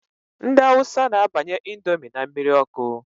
Ndị awusa na-abanye índomi n' mmiri ọkụ.